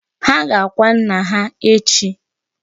Ha ga-akwa nnà ha echi.